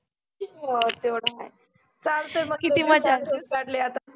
हो तेव्हढ आहे. चालतं मग अंथरुन काढलय आता.